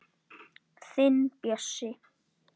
Þinn Bjössi.